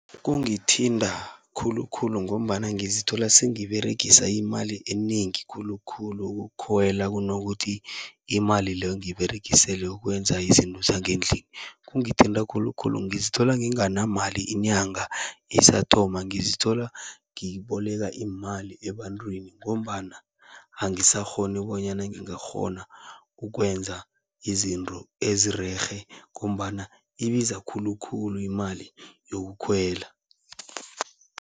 Kungithinta khulukhulu ngombana ngizithola sengiberegisa imali enengi khulukhulu, ukukhwela kunokuthi imali leyo ngiyiberegisele ukwenza izinto zangendlini. Kungithinta khulukhulu ngizithola nginganamali inyanga isathoma, ngizithola ngiboleka iimali ebantwini ngombana angisakghoni bonyana ngingakghona ukwenza izinto ezirerhe. Ngombana ibiza khulukhulu imali yokukhwela.